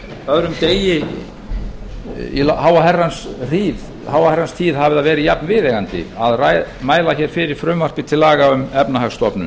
öðrum degi í háa herrans tíð hafi verið jafnviðeigandi að mæla fyrir frumvarpi til laga um efnahagsstofnun